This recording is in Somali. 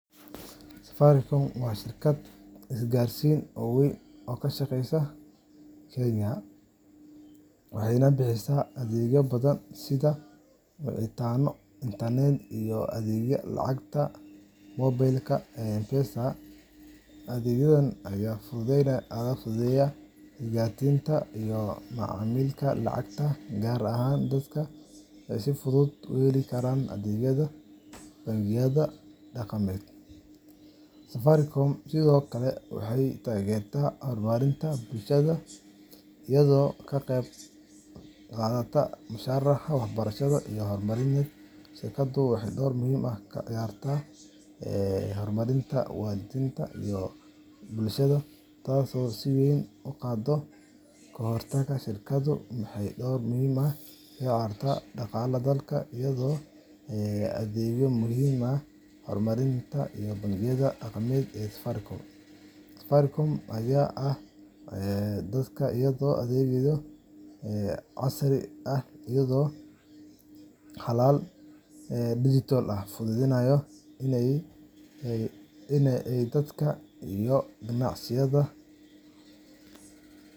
Safaricom waa shirkad isgaarsiin oo weyn oo ka shaqeysa Kenya, waxayna bixisaa adeegyo badan sida wicitaano, internet, iyo adeegga lacagta moobilka ee M-PESAda. Adeegyadan ayaa fududeeya isgaarsiinta iyo macaamilka lacagaha, gaar ahaan dadka aan si fudud u heli karin adeegyada bangiyada dhaqameed. Safaricom sidoo kale waxay taageertaa horumarinta bulshada iyada oo ka qayb qaadata mashaariic waxbarasho iyo horumarineed. Shirkaddu waxay door muhiim ah ka ciyaartaa dhaqaalaha dalka iyadoo adeegyo casri ah iyo xalal dijital ah u fududeysa dadka iyo ganacsiyada.